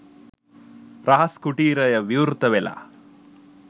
රහස් කුටීරය විවෘත වෙලා.